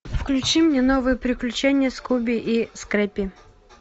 включи мне новые приключения скуби и скрэппи